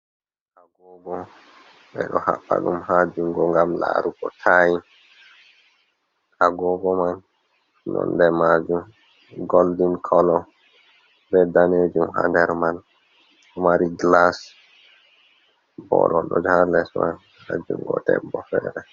Agobo ɓe ɗo haɓɓa ɗum ha jungo ngam larugo tayim. Agobo man nonɗe majum goldin kolo, ɓe ɗanejum ha nɗer man. Ɗo mari gilas, boro ɗon ha les man, ha jungo ɗeɓɓo fere.